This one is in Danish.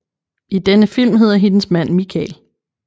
I denne film hedder hendes mand Michael